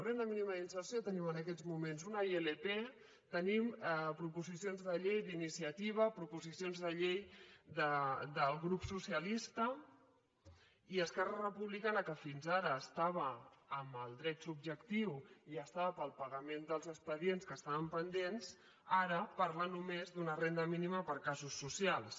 renda mínima d’inserció tenim en aquests moments una ilp tenim proposicions de llei d’iniciativa proposicions de llei del grup socialista i esquerra republicana que fins ara estava amb el dret subjectiu i estava pel pagament dels expedients que estaven pendents ara parla només d’una renda mínima per a casos socials